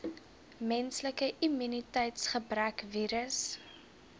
menslike immuniteitsgebrekvirus